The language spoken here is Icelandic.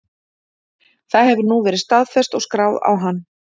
Það hefur nú verið staðfest og skráð á hann.